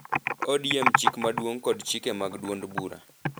ODM chik maduong’ kod chike mag duond bura.